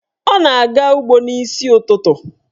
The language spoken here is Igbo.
Ọ na-aga ụgbọ n'isi ụtụtụ.